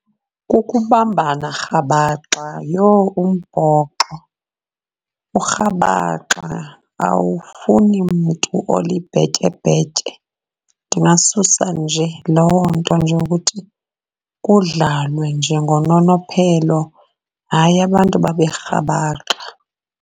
Kukubambana rhabaxa, yho umbhoxo urhabaxa awufuni mntu olibhetyebhetye. Ndingasusa nje loo nto nje ukuthi kudlalwe nje ngononophelo, hayi abantu babe rhabaxa.